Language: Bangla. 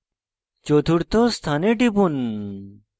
চতুর্থ স্থানে টিপুন